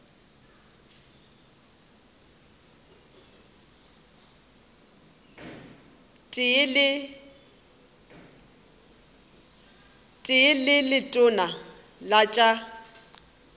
tee le letona la tša